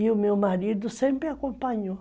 E o meu marido sempre acompanhou.